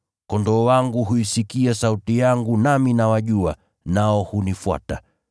Kondoo wangu huisikia sauti yangu nami nawajua, nao hunifuata,